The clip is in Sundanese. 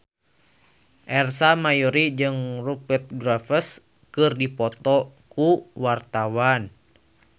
Ersa Mayori jeung Rupert Graves keur dipoto ku wartawan